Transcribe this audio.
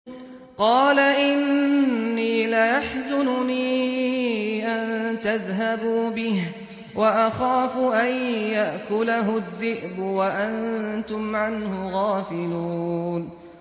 قَالَ إِنِّي لَيَحْزُنُنِي أَن تَذْهَبُوا بِهِ وَأَخَافُ أَن يَأْكُلَهُ الذِّئْبُ وَأَنتُمْ عَنْهُ غَافِلُونَ